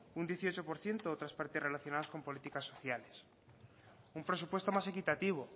un dieciocho por ciento otras partidas relacionadas con políticas sociales un presupuesto más equitativo